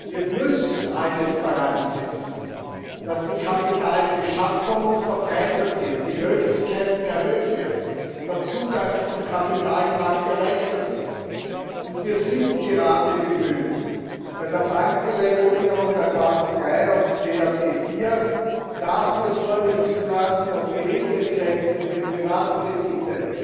Wir müssen alles daransetzen, dass die Kapitalbeschaffung verbreitert wird, die Möglichkeiten erhöht werden, der Zugang zum Kapitalmarkt erleichtert wird, und wir sind gerade darum bemüht, bei der Bankenregulierung Basel III und CRD IV dafür Sorge zu tragen, dass die Retail Grenze für Privatkredite